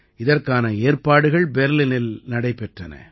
இதற்கான ஏற்பாடுகள் பெர்லினில் நடைபெற்றன